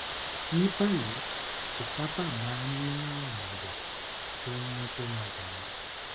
ní báyìí kò sábà máa ń ní àrùn àyà tó ń mú kó máa ń dààmú